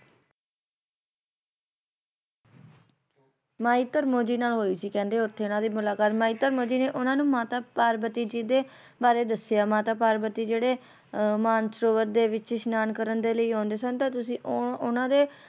ਮਾਈ ਧਰਮੋਂ ਜੀ ਨਾਲ ਹੋਈ ਸੀ ਕਹਿੰਦੇ ਓਥੇ ਇਹਨਾਂ ਦੀ ਮੁਲਾਕਾਤ ਮਾਈ ਧਰਮੋਂ ਜੀ ਨੇ ਓਹਨਾ ਨੂੰ ਮਾਤਾ ਪਾਰਵਤੀ ਜੀ ਦੇ ਬਾਰੇ ਦਸਿਆ ਮਾਤਾ ਪਾਰਵਤੀ ਜਿਹੜੇ ਅਹ ਮਾਨਸਰੋਵਰ ਦੇ ਵਿੱਚ ਇਸ਼ਨਾਨ ਕਰਨ ਦੇ ਲਈ ਆਉਂਦੇ ਸਨ ਤਾਂ ਤੁਸੀ ਉਹ~ ਉਹਨਾਂ ਦੇ